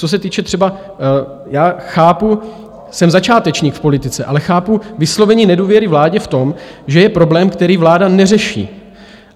Co se týče třeba... já chápu, jsem začátečník v politice, ale chápu vyslovení nedůvěry vládě v tom, že je problém, který vláda neřeší.